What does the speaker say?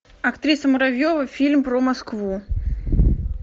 актриса муравьева фильм про москву